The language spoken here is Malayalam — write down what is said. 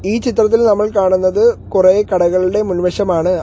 ഈ ചിത്രത്തിൽ നമ്മൾ കാണുന്നത് കുറെ കടകളുടെ മുൻവശമാണ്.